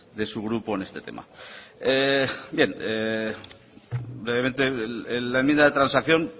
de su grupo en este tema bien brevemente en la enmienda de transacción